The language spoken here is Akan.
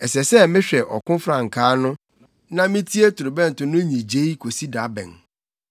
Ɛsɛ sɛ mehwɛ ɔko frankaa no na mitie torobɛnto no nnyigye kosi da bɛn?